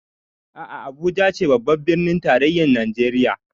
A'a Abuja ce babbar birnin tarayyar Najeriya